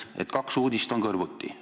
On kaks uudist kõrvuti.